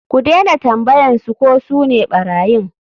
Ku dena tambayan su ko sune ɓarayin.